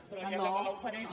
però ja que me l’ofereix